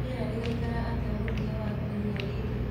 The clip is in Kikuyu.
rĩera rĩgaĩkara atĩa mũthia wa kĩumĩa giki